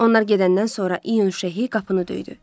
Onlar gedəndən sonra İyun Şeyxi qapını döydü.